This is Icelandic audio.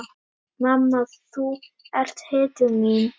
Mamma þú ert hetjan mín.